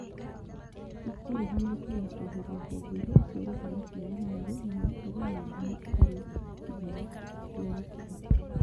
ĩkũruhanĩtio na kweheria honge iria iciarĩte maciaro merĩ na gũkorwo na ngumo itarĩ njega cia gũkũra